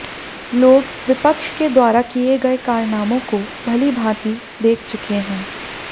लोग विपक्ष के द्वारा किये गये कारनामों को भली भांति देख चुके है